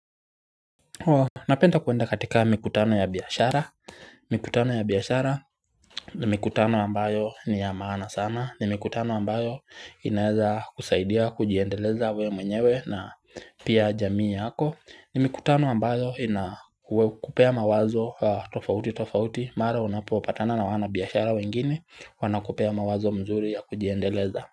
Napenda kwenda katika mikutano ya biashara, mikutano ya biashara ni mikutano ambayo ni ya maana sana, ni mikutano ambayo inaeza kusaidia kujiendeleza we mwenyewe na pia jamii yako, ni mikutano ambayo ina kupea mawazo tofauti tofauti, mara unapopatana na wanabiashara wengine, wana kupea mawazo mzuri ya kujiendeleza.